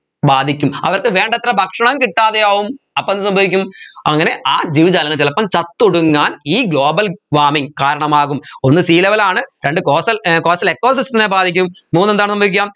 ബാധിക്കും അവർക്ക് വേണ്ടത്ര ഭക്ഷണം കിട്ടാതെയാവും അപ്പോ എന്ത് സംഭവിക്കും അങ്ങനെ ആ ജീവജാലങ്ങൾ ചിലപ്പോ ചത്തൊടുങ്ങാൻ ഈ global warming കാരണമാകും ഒന്ന് sea level ആണ് രണ്ട് coastal ഏർ ecosystem ത്തിനെ ബാധിക്കും മൂന്ന് എന്താണ് സംഭവിക്ക